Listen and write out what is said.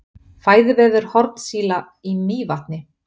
Fæðuvefur hornsíla í Mývatni.